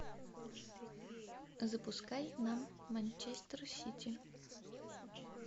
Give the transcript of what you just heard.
запускай нам манчестер сити